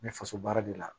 N bɛ faso baara de la